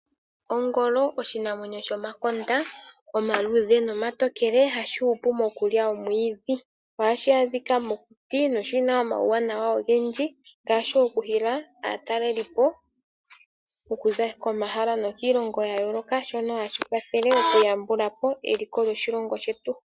Ongolo oshinamwenyo shomakonda omaluudhe nomatokele hashi hupu mokulya omwiidhi. Ohashi adhika mokuti noshina omauwana ogendji ngaashi, oku hila aatalelipo okuza komahala nokiilongo yayooloka shono hashi kwathele oku yambulapo eliko lyo shilongo shetu.